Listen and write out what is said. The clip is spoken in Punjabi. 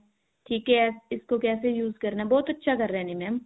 ਇਸਕੋ ਕੈਸੇ use ਕਰਨਾ ਹੈ ਬਹੁਤ ਅੱਛਾ ਕਰ ਰਹੇ ਨੇ mam